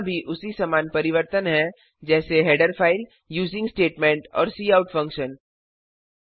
यहां भी उसी समान परिवर्तन हैं जैसे हेडर फ़ाइल यूजिंग स्टेटमेंट और काउट फंक्शन